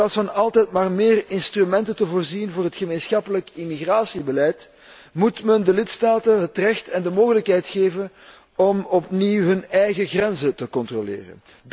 En in plaats van altijd maar meer instrumenten te scheppen voor het gemeenschappelijk immigratiebeleid, moet men de lidstaten het recht en de mogelijkheid geven om opnieuw hun eigen grenzen te controleren.